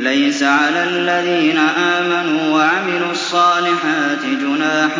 لَيْسَ عَلَى الَّذِينَ آمَنُوا وَعَمِلُوا الصَّالِحَاتِ جُنَاحٌ